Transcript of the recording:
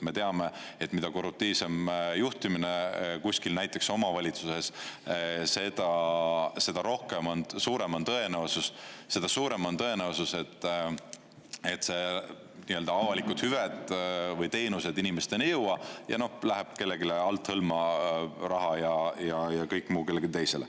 Me teame, et mida korruptiivsem juhtimine kuskil näiteks omavalitsuses, seda rohkem on, suurem on tõenäosus, seda suurem on tõenäosus, et see nii-öelda avalikud hüved või teenused inimesteni ei jõua ja läheb kellegile althõlma raha ja kõik muu kellelegi teisele.